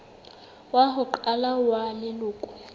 wa ho qala wa leloko